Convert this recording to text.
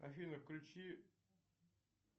афина включи